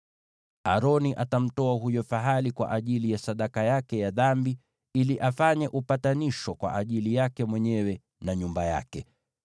“Aroni atamtoa huyo fahali kwa ajili ya sadaka yake ya dhambi ili afanye upatanisho kwa ajili yake mwenyewe na nyumba yake.